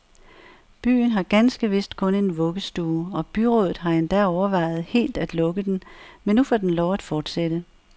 Byen har ganske vist kun en vuggestue, og byrådet har endda overvejet helt at lukke den, men nu får den lov at fortsætte.